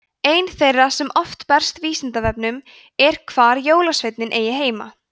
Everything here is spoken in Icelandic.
ein þeirra sem oft berst vísindavefnum er hvar jólasveinninn eigi heima